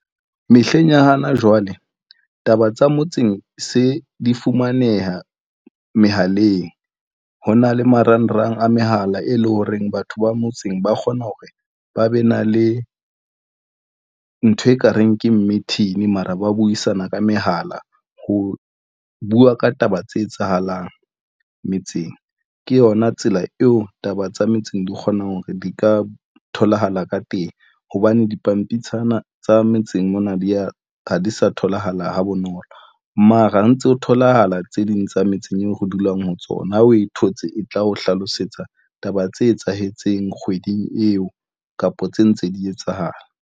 Mehleng ya hana jwale, taba tsa motseng se di fumaneha mehaleng. Ho na le marangrang a mehala, e leng horeng batho ba motseng ba kgona hore ba be na le ntho ekareng ke meeting, mara ba buisana ka mehala ho bua ka taba tse etsahalang metseng. Ke yona tsela eo taba tsa metseng di kgonang hore di ka tholahala ka teng hobane dipampitshana tsa metseng mona di a ha di sa tholahala ha bonolo. Mara ho ntse ho tholahala tse ding tsa metseng eo re dulang ho tsona, o e thotse e tla o hlalosetsa taba tse etsahetseng kgweding eo kapa tse ntse di etsahala.